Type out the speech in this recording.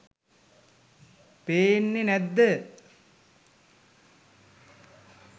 පේන්නේ නැද්ද?